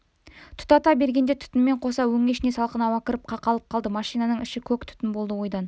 тұтата бергенде түтінмен қоса өңешіне салқын ауа кіріп қақалып қалды машинаның іші көк түтін болды ойдан